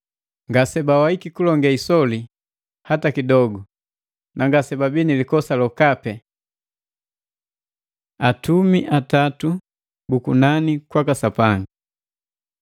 Ngasebawaiki kulonge isoli hata kidogu na ngasebabii ni likosa lokapi. Atumi atatu bu kunani kwaka Sapanga